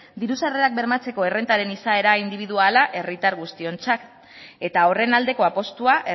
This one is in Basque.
diru sarrerak bermatzeko errentaren izaera indibiduala herritar guztiontzat eta horren aldeko apustua